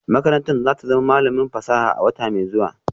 Makarantar za ta zama malamin fasaha a wata mai zuwa